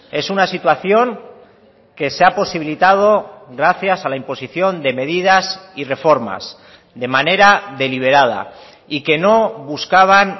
es una situación que se ha posibilitado gracias a la imposición de medidas y reformas de manera deliberada y que no buscaban